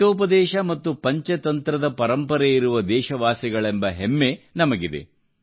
ಹಿತೋಪದೇಶ ಮತ್ತು ಪಂಚತಂತ್ರದ ಪರಂಪರೆಯಿರುವ ದೇಶವಾಸಿಗಳೆಂಬ ಹೆಮ್ಮೆ ನಮಗಿದೆ